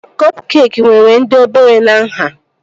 Kọp keekị nwere dị obere na nhá